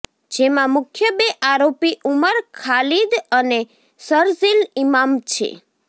જેમાં મુખ્ય બે આરોપી ઉમર ખાલીદ અને શરઝીલ ઇમામ છે